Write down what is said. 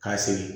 K'a sigi